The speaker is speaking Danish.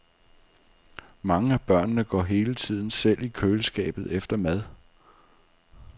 Mange af børnene går hele tiden selv i køleskabet efter mad.